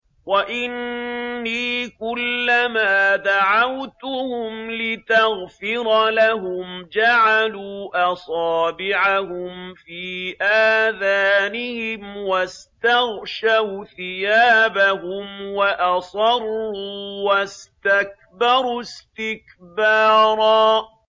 وَإِنِّي كُلَّمَا دَعَوْتُهُمْ لِتَغْفِرَ لَهُمْ جَعَلُوا أَصَابِعَهُمْ فِي آذَانِهِمْ وَاسْتَغْشَوْا ثِيَابَهُمْ وَأَصَرُّوا وَاسْتَكْبَرُوا اسْتِكْبَارًا